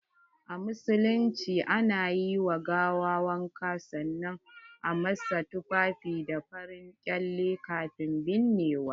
A musulunci, a na yi wa gawa wanka sanan a masa tufafi da farin ƙyale kafin binnewa.